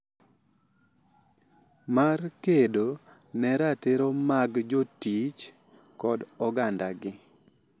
Mar kedo ne ratiro mag jotich kod ogandagi.